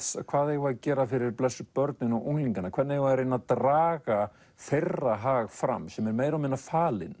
hvað eigum við að gera fyrir blessuð börnin og unglingana hvernig eigum við að reyna að draga þeirra hag fram sem er meira og minna falinn